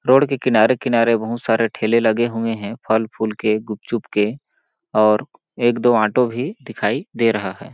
Road के किनारे-किनारे बहुत सारे ठेले लगे हुए हैं फल फूल के गुपचुप के और एक दो ऑटो भी दिखाई दे रहा है।